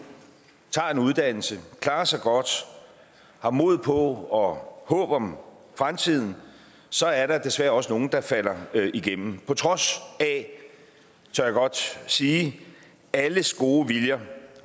tager en uddannelse klarer sig godt har mod på og håb om fremtiden så er der desværre også nogle der falder igennem på trods af tør jeg godt sige alles gode viljer